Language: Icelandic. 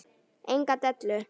Enga dellu!